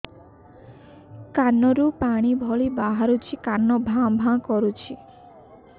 କାନ ରୁ ପାଣି ଭଳି ବାହାରୁଛି କାନ ଭାଁ ଭାଁ କରୁଛି